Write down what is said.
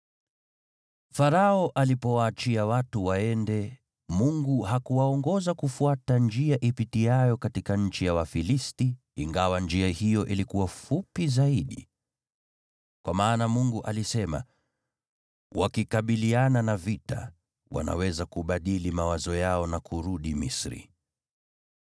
Farao alipowaachia watu waende, Mungu hakuwaongoza kufuata njia ipitiayo katika nchi ya Wafilisti, ingawa njia hiyo ilikuwa fupi zaidi. Kwa maana Mungu alisema, “Wakikabiliana na vita, wanaweza kubadili mawazo yao na kurudi Misri.”